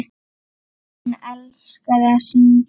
Hún elskaði að syngja.